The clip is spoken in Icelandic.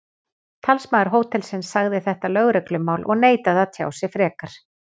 Talsmaður hótelsins sagði þetta lögreglumál og neitaði að tjá sig frekar.